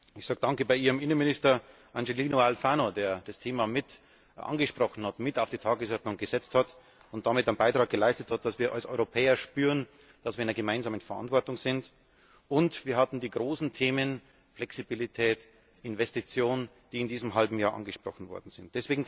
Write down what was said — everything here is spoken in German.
Ich sage danke bei Ihrem Innenminister, Angelino Alfano, der das Thema mit angesprochen hat, es mit auf die Tagesordnung gesetzt hat und damit einen Beitrag geleistet hat, dass wir als Europäer spüren, dass wir in einer gemeinsamen Verantwortung sind. Und wir hatten die großen Themen Flexibilität und Investitionen, die in diesem halben Jahr angesprochen worden sind.